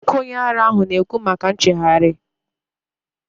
Nwoke onye ara ahụ na ekwu maka nchegharị